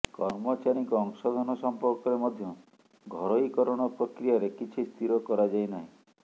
କର୍ମଚାରୀଙ୍କ ଅଂଶଧନ ସମ୍ପର୍କରେ ମଧ୍ୟ ଘରୋଇକରଣ ପ୍ରକ୍ରିୟାରେ କିଛି ସ୍ଥିର କରାଯାଇ ନାହିଁ